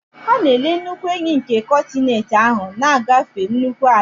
Ha na-ele nnukwu enyí nke kọntinent ahụ, na-agafe nnukwu ala